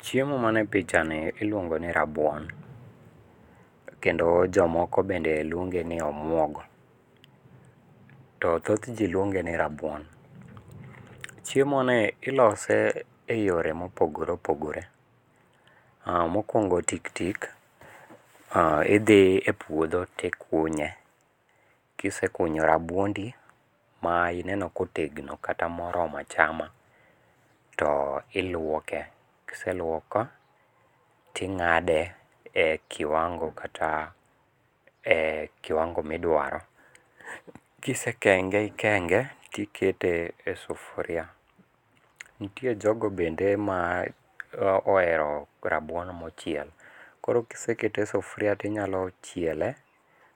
Chiemo mani e picha ni iluongo ni rabuon, kendo jomoko bende luonge ni omuogo. To thoth ji luonge ni rabuon. Chiemo ni ilose e yore ma opogore opogore. Mokwongo tik tik, idhi e puodho to ikunye, ka isekunyo rabuondi ma ineno ka otegno kata ma oromo achama to ilwoke. Ka iselwoko to ingáde e kiwango, kata e kiwango ma idwaro. Kisekenge ikenge to ikete ei sufria. Nitie jogo bende ma ohero rabuon ma ochiel. Koro ka isekete e sufria to inyalo chiele,